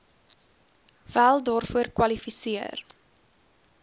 wel daarvoor kwalifiseer